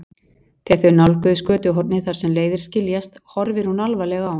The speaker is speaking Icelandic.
Þegar þau nálgast götuhornið þar sem leiðir skiljast horfir hún alvarleg á hann.